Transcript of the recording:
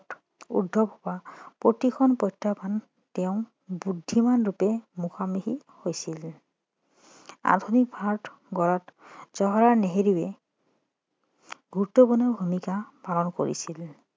উদ্ভৱ হোৱা প্ৰতিটো প্ৰত্যাহ্বান তেওঁ বুদ্ধিমান ৰূপে মুখামুখি হৈছিল আধুনিক ভাৰত গঢ়াত জৱাহৰলাল নেহেৰুৱে গুৰুত্বপূৰ্ণ ভূমিকা পালন কৰিছিল